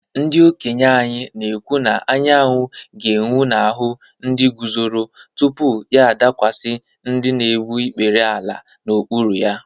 Ndị okenye anyị na-ekwu na anwụ ga-enwu n’ahụ ndị guzoro, tupu ya adakwasị ndị na-egbu ikpere n’ala n’okpuru ha.